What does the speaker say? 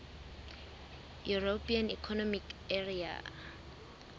european economic area